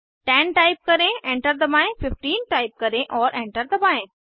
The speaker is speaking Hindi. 10 टाइप करें एंटर दबाएं 15 टाइप करें और एंटर दबाएं